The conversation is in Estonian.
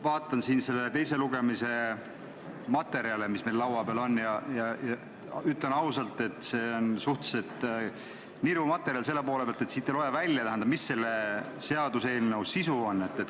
Vaatan siin neid teise lugemise materjale, mis meil laua peal on, ja ütlen ausalt, et see on suhteliselt niru materjal selle poole pealt, et siit ei loe välja, mis selle seaduseelnõu sisu on.